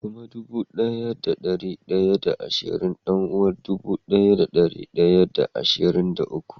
Kuma dubu daya da dari daya da ashirin dan-uwar dubu daya da dari daya da ashirin da uku